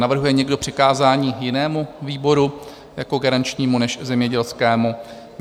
Navrhuje někdo přikázání jinému výboru jako garančnímu než zemědělskému?